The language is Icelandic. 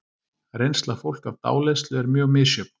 Reynsla fólks af dáleiðslu er mjög misjöfn.